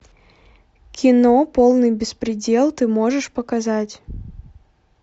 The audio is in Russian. кино полный беспредел ты можешь показать